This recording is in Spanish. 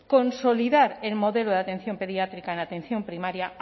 consolidar el modelo de atención pediátrica en atención primaria